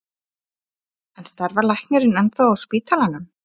En starfar læknirinn ennþá á spítalanum?